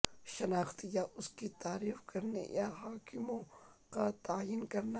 شناخت یا اس کی تعریف کرنے یا حاکموں کا تعین کرنا